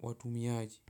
watumiaji.